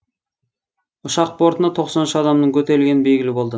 ұшақ бортына тоқсан үш адамның көтерілгені белгілі болды